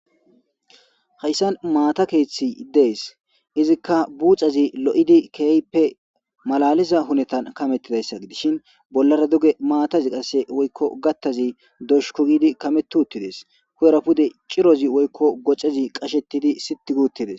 hayssan maata keeththi dees. izikka buucazi lo7idi keeyppe malaliza hunetan kamettidayssa gidishin bollara duge maatazi qasse woykko gattazi doshuku gidi kamettides. huyera pude cirozi woykko gocezi qashettidi siti guttides